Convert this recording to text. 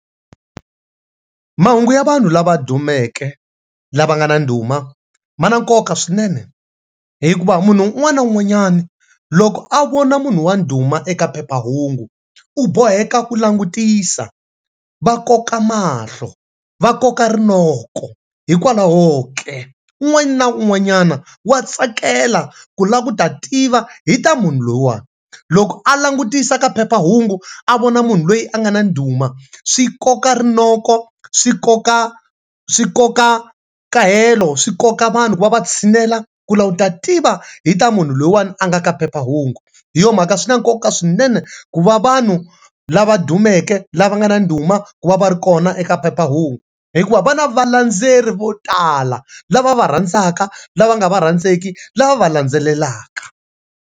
Mahungu ya vanhu lava dumeke lava nga na ndhuma ma na nkoka swinene hikuva munhu un'wana na un'wanyani loko a vona munhu wa ndhuma eka phephahungu u boheka ku langutisa va koka mahlo va koka rinoko hikwalahoke un'wana na un'wanyana wa tsakela ku lava ku ta tiva hi ta munhu lowa loko a langutisa ka phephahungu a vona munhu loyi a nga na ndhuma swi koka rinoko swikoka swikoka kahelo swikoka vanhu ku va va tshinela ku va ku lava ku ta tiva hi ta munhu loyiwana a nga ka phephahungu hi yo mhaka swi na nkoka swinene ku va vanhu lava dumeke lava nga na ndhuma ku va va ri kona eka phephahungu hikuva vana valendzeleri vo tala lava va va rhandzaka, lava nga va rhandzeki, lava va va landzelelaka.